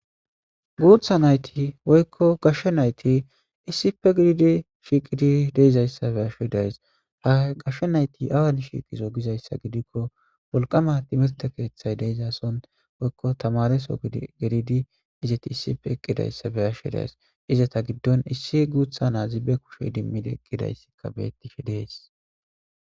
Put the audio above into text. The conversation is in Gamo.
guutha nayti woykko gashshe nayti issipe gedidi shiiqidi deizayssabe asho days ha gashshe nayti awan shiiqizo gizayssa gidikko wolqama timirte keeththay deizason woykko tamareso gedidi izeti issipe eqqidayssabe ashe days iza ta giddon issi guutha naa zibe kushe dimmideqqidayssikka beettishe dees